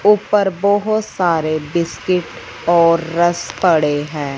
ऊपर बहोत सारे बिस्किट और रस्क पड़े हैं।